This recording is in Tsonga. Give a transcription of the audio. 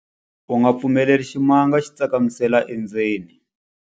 U nga pfumeleli ximanga xi tsakamisela endzeni.